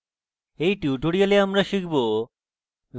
in tutorial আমরা শিখব: